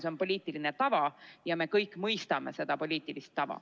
See on poliitiline tava ja me kõik mõistame seda poliitilist tava.